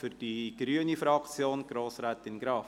Für die grüne Fraktion, Grossrätin Graf.